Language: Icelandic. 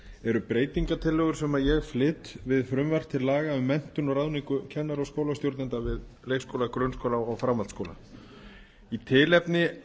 eru breytingartillögur sem ég flyt við frumvarp til laga um menntun og ráðningu kennara og skólastjórnenda við leikskóla grunnskóla og framhaldsskóla í tilefni